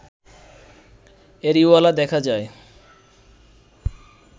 areola দেখা যায়